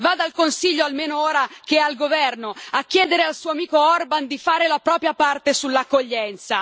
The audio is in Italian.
Vada al Consiglio, almeno ora che è al governo, a chiedere al suo amico Orban di fare la propria parte sull'accoglienza.